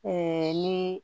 ni